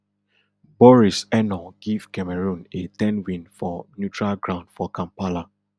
boris enow give cameroon a ten win for neutral ground for kampala